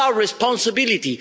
it is our responsibility.